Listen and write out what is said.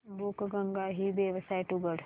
बुकगंगा ही वेबसाइट उघड